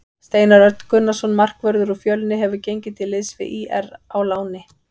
Steinar Örn Gunnarsson markvörður úr Fjölni hefur gengið til liðs við ÍR á láni.